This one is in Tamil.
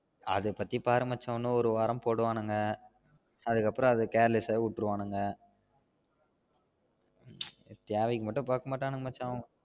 அதபத்தி பாரு மச்சா இன்னும் ஒரு வாரம் போடுவானுங்க அதுக்கு அப்றம் அத careless ஆஹ் விட்ருவாணுங்க தேவைக்கு மட்டும் பாக்க மாட்டானுங்க